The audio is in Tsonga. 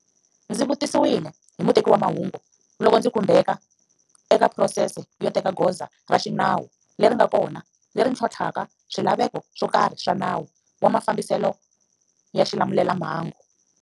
Ndzi vutisiwile hi muteki wa mahungu loko ndzi khumbeka eka phurosese yo teka goza ra xinawu leri nga kona leri ntlhontlhaka swilaveko swo karhi swa Nawu wa Mafambiselo ya Xilamulelamhangu.